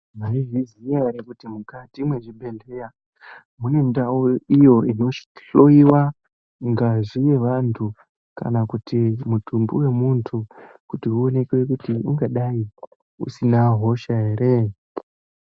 Mwaizviziya ere, kuti mukati mwezvibhedhlera mune ndau iyo inohloiwa ngazi yevantu, kana kuti mutumbi wemuntu, kuti uonekwe kuti ungadai usina hosha here?